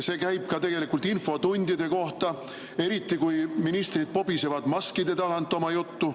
See käib tegelikult ka infotundide kohta, eriti kui ministrid kobisevad maskide tagant oma juttu.